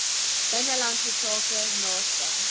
binnelandse sake naaste